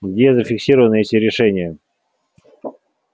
где зафиксированы эти решения